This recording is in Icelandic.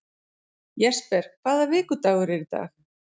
Jesper, hvaða vikudagur er í dag?